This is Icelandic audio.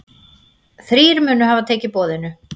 Þrír munu hafa tekið boðinu.